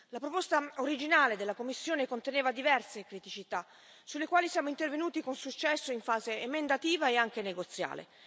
La proposta originale della Commissione conteneva diverse criticità, sulle quali siamo intervenuti con successo in fase emendativa e negoziale.